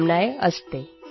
जे